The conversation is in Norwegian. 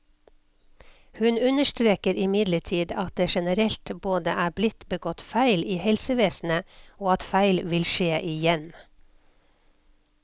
Hun understreker imidlertid at det generelt både er blitt begått feil i helsevesenet, og at feil vil skje igjen.